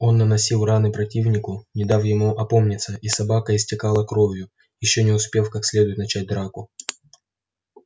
он наносил раны противнику не дав ему опомниться и собака истекала кровью ещё не успев как следует начать драку